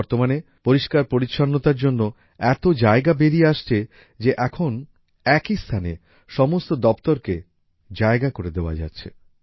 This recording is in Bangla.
বর্তমানে পরিষ্কারপরিচ্ছন্নতার জন্য এত জায়গা বেরিয়ে আসছে যে এখন একই স্থানে সমস্ত দফতরকে জায়গা করে দেওয়া যাচ্ছে